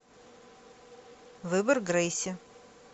выбор грейси